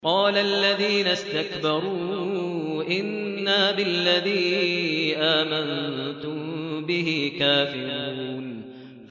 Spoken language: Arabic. قَالَ الَّذِينَ اسْتَكْبَرُوا إِنَّا بِالَّذِي آمَنتُم بِهِ كَافِرُونَ